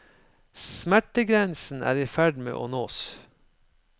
Smertegrensen er i ferd med å nås.